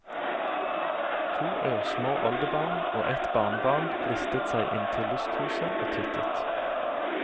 To ørsmå oldebarn og et barnebarn listet seg inntil lysthuset og tittet.